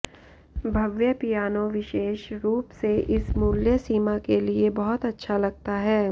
भव्य piano विशेष रूप से इस मूल्य सीमा के लिए बहुत अच्छा लगता है